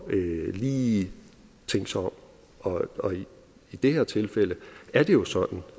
lige at tænke sig om og og i det her tilfælde er det jo sådan